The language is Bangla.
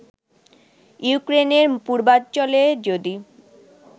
ইউক্রেনের পূর্বাঞ্চলে যদি